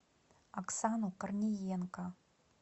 оксану корниенко